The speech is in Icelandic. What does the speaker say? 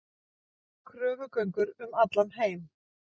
Kröfugöngur um allan heim